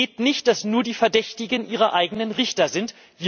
Es geht nicht, dass nur die Verdächtigen ihre eigenen Richter sind.